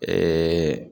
Ɛɛ